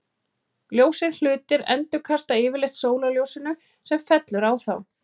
Ljósir hlutir endurkasta yfirleitt sólarljósinu sem fellur á þá.